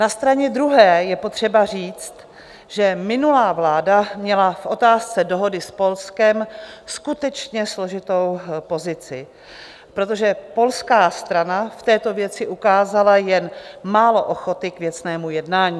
Na straně druhé je potřeba říct, že minulá vláda měla v otázce dohody s Polskem skutečně složitou pozici, protože polská strana v této věci ukázala jen málo ochoty k věcnému jednání.